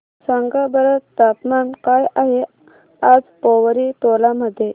सांगा बरं तापमान काय आहे आज पोवरी टोला मध्ये